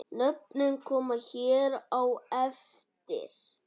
Nöfnin koma hér á eftir.